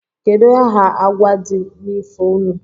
Kedu aha agwa di n'ifo unu?